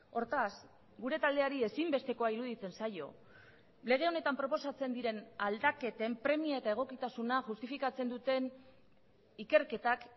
hortaz gure taldeari ezinbestekoa iruditzen zaio lege honetan proposatzen diren aldaketen premia eta egokitasuna justifikatzen duten ikerketak